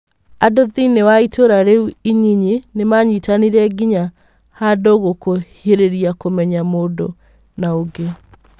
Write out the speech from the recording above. Andũthĩinĩĩ wa itũra rĩu inyinyi nĩ manyitanĩire nginya handũhagũkuhirĩria kũmenya mũndũna ũngĩ.